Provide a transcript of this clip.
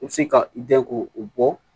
I bɛ se ka i ko o bɔ